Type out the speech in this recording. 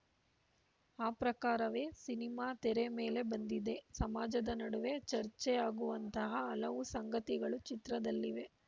ಆ ಪ್ರಕಾರವೇ ಸಿನಿಮಾ ತೆರೆ ಮೇಲೆ ಬಂದಿದೆ ಸಮಾಜದ ನಡುವೆ ಚರ್ಚೆ ಆಗುವಂತಹ ಹಲವು ಸಂಗತಿಗಳು ಚಿತ್ರದಲ್ಲಿವೆ